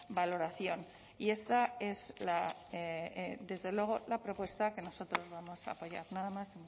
valoración y esta es desde luego la propuesta que nosotros vamos a apoyar nada más